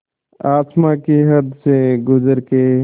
आसमां की हद से गुज़र के